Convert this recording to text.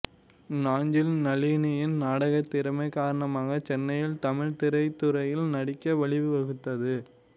நாஞ்சில் நளினியின் நாடகத் திறமை காரணமாகச் சென்னையில் தமிழ் திரைத்துறையில் நடிக்க வழிவகுத்தது